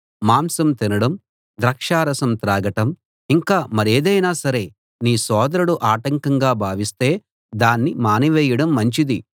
మాంసం తినడం ద్రాక్షారసం తాగటం ఇంకా మరేదైనా సరే నీ సోదరుడు ఆటంకంగా భావిస్తే దాన్ని మానివేయడం మంచిది